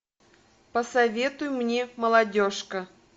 посоветуй мне молодежка